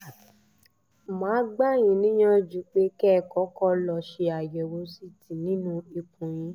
mà á gbà yín níyànjú pé kẹ́ ẹ kọ́kọ́ lọ ṣe àyẹ̀wò ct nínú ikùn yín